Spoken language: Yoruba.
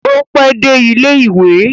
O pẹ dé ilẹ ìwé?